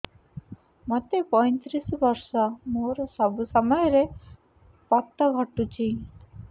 ମୋତେ ପଇଂତିରିଶ ବର୍ଷ ମୋର ସବୁ ସମୟରେ ପତ ଘଟୁଛି